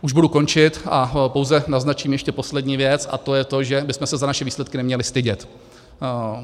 Už budu končit a pouze naznačím ještě poslední věc, a to je to, že bychom se za naše výsledky neměli stydět.